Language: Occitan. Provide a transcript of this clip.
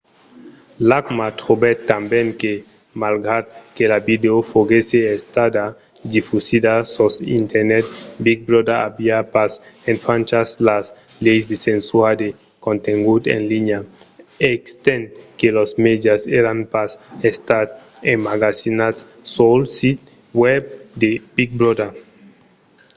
l'acma trobèt tanben que malgrat que la vidèo foguèsse estada difusida sus internet big brother aviá pas enfranchas las leis de censura de contengut en linha estent que los mèdias èran pas estat emmagazinats sul sit web de big brother